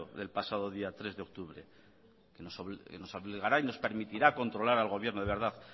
del pasado día tres de octubre que nos obligará y nos permitirá controlar al gobierno de verdad